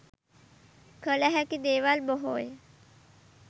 කල හැකි දේවල් බොහෝය.